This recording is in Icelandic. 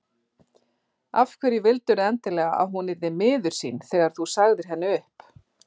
Af hverju vildirðu endilega að hún yrði miður sín þegar þú sagðir henni upp?